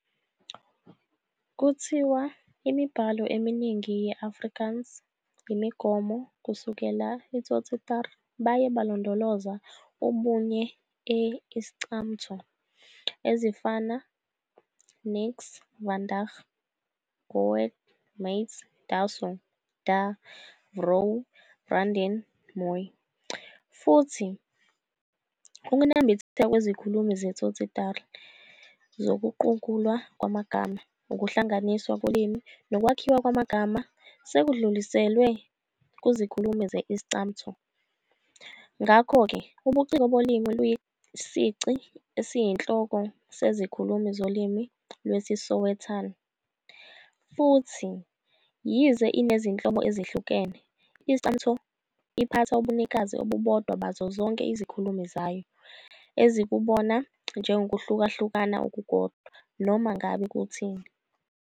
Kuthiwa imibhalo eminingi ye-Afrikaans imigomo kusukela Tsotsitaal baye balondoloza ubunye e Iscamtho, ezifana "niks," "vandag," "goed," "maat," "Daso", "darr", "vrou," "vriendin," "Mooi."Futhi, ukunambitheka kwezikhulumi zeTsotsitaal zokuguqulwa kwamagama, ukuhlanganiswa kolimi nokwakhiwa kwamagama sekudluliselwe kuzikhulumi ze-Iscamtho. Ngakho-ke, ubuciko bolimi luyisici esiyinhloko sezikhulumi zolimi lwesiSowetan. Futhi yize inezinhlobo ezahlukahlukene, i-Iscamtho iphatha ubunikazi obubodwa bazo zonke izikhulumi zayo, ezikubona njengokuhlukahluka okukodwa, noma ngabe kuthini.